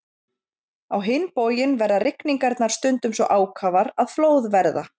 Á hinn bóginn verða rigningarnar stundum svo ákafar að flóð verða.